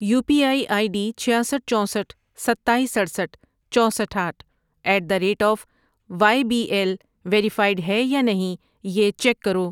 You P I I D چھیاسٹھ ،چوسٹھ ،ستایس، اٹھسٹھ ،چوسٹھ ،آٹھ ، at the rate of Y B L verified ہے یا نہیں یہ چیک کرو۔